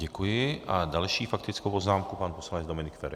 Děkuji a další faktickou poznámku pan poslanec Dominik Feri.